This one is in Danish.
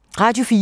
Radio 4